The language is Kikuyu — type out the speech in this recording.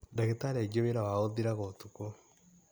Dagĩtarĩ aingĩ wĩra wao ũthiraga ũtukũ.